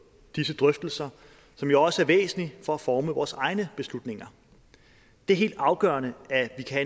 disse drøftelser som jo også er væsentlige for at forme vores egne beslutninger det er helt afgørende at vi kan